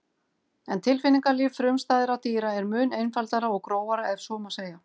En tilfinningalíf frumstæðra dýra er mun einfaldara og grófara ef svo má segja.